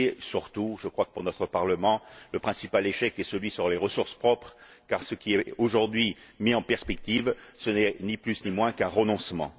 Surtout, je crois que, pour notre Parlement, le principal échec est celui qui concerne les ressources propres, car ce qui est, aujourd'hui, mis en perspective, ce n'est ni plus ni moins qu'un renoncement.